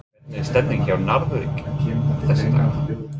Hvernig er stemningin hjá Njarðvík þessa dagana?